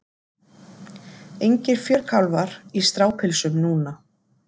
Engir fjörkálfar í strápilsum núna.